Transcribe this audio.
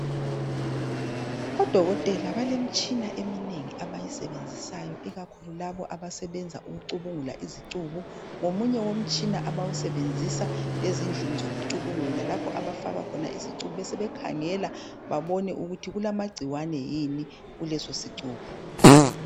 Odokotela balemitshina eminengi abayisebenzisayo ikakhulu labo abasebenza ukucubungula izicubu ngomunye womtshina abawusebenzisa ezindlini zokucubungula lapho abafika khona isicubu besebekhangela babone ukuthi kulamagcikwane yini kulesosicubu.